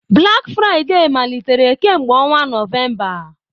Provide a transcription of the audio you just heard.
Black Friday malitere kemgbe ọnwa Nọvemba.